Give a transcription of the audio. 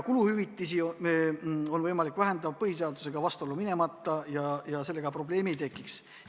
Kuluhüvitisi on võimalik vähendada põhiseadusega vastuollu minemata ja sellega probleemi ei tekiks.